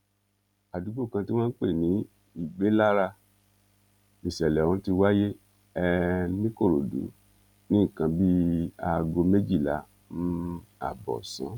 àdúgbò kan tí wọn ń pè ní ìgbélára níṣẹlẹ ohun ti wáyé um nìkòròdú ní nǹkan bíi aago méjìlá um ààbọ ọsán